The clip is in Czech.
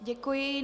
Děkuji.